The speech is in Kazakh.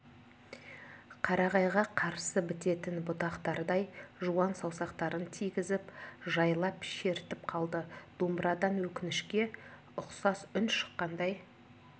қарағайға қарсы бітетін бұтақтардай жуан саусақтарын тигізіп жайлап шертіп қалды домбырадан өкінішке ұқсас үн шыққандай